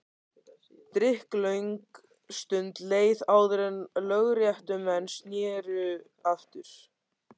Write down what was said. Drykklöng stund leið áður en lögréttumenn sneru aftur.